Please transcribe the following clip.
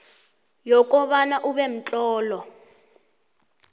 yokobana ube mtlolo